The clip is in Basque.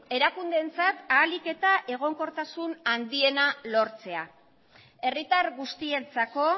erakundeentzat ahalik eta egonkortasun handiena lortzea herritar guztientzako